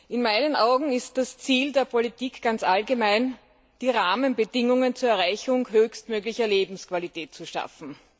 In meinen Augen ist das Ziel der Politik ganz allgemein, die Rahmenbedingungen zur Erreichung höchstmöglicher Lebensqualität zu schaffen.